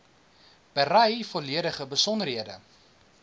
berei volledige besonderhede